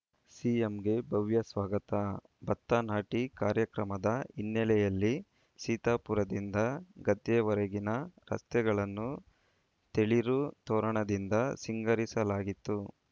ಸಿಎಂಗೆ ಭವ್ಯ ಸ್ವಾಗತ ಭತ್ತ ನಾಟಿ ಕಾರ್ಯಕ್ರಮದ ಹಿನ್ನೆಲೆಯಲ್ಲಿ ಸೀತಾಪುರದಿಂದ ಗದ್ದೆವರೆಗಿನ ರಸ್ತೆಗಳನ್ನು ತೇಳಿರು ತೋರಣದಿಂದ ಸಿಂಗಾರಿಸಲಾಗಿತ್ತು